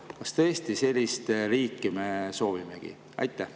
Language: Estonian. Kas tõesti sellist riiki me soovimegi?